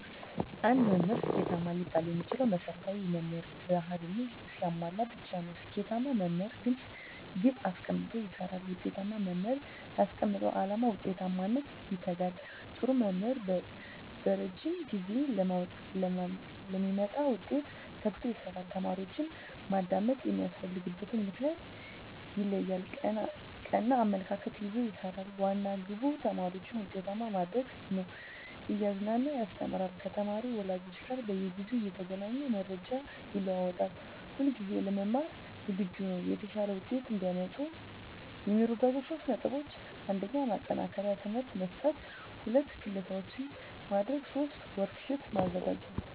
አንድ መምህር ስኬታማ ሊባል የሚችለው መሰረታዊ የመምህር በህሪያትን ሲያሟላ ብቻ ነው። ስኬታማ መምህር ግለፅ ግብ አሰቀምጦ ይሰራል፣ ውጤታማ መምህር ላስቀመጠው ዓላማ ውጤታማነት ይተጋል፣ ጥሩ መምህር በረጂም ጊዜ ለሚመጣ ውጤት ተግቶ ይሰራል፣ ተማሪዎችን ማዳመጥ የሚያስፈልግበትን ምክንያት ይለያል፣ ቀና አመለካከት ይዞ ይሰራል፤ ዋና ግቡ ተማሪዎችን ውጤታማ ማድረግ ነው፤ እያዝናና ያስተምራል፤ ከተማሪ ወላጆች ጋር በየጊዜው እየተገናኘ መረጃ ይለዋወጣል፣ ሁለጊዜ ለመማር ዝግጁ ነው። የተሻለ ውጤት እዲያመጡ የሚረዷቸው 3 ነጥቦች 1. ማጠናከሪያ ትምህርት መስጠት 2. ክለሣዎችን ማድረግ 3. ወርክ ሽት ማዘጋጀት